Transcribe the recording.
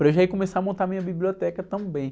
Para eu já ir começar a montar minha biblioteca também.